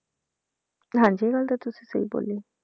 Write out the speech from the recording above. ਹਾਂਜੀ ਉਹ ਤਾਂ ਤੁਸੀਂ ਸਹੀ ਬੋਲਿਆ।